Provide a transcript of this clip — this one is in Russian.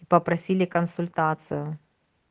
попросили консультацию